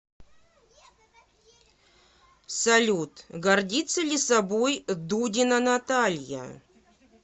салют гордится ли собой дудина наталья